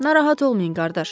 Narahat olmayın, qardaş.